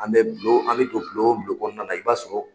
An be bulon ,an be don bulon bulon kɔnɔna na i b'a sɔrɔ